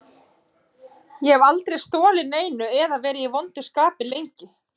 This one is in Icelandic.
Ég hef aldrei stolið neinu eða verið í vondu skapi lengi.